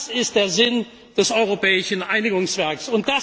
Das ist der Sinn des europäischen Einigungswerks.